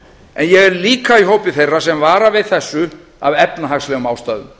en ég er líka í hópi þeirra sem vara við þessu af efnahagslegum ástæðum